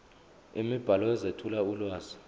imibhalo ezethula ulwazi